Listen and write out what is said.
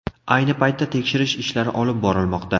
Ayni paytda tekshirish ishlari olib borilmoqda.